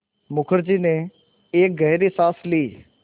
मुखर्जी ने एक गहरी साँस ली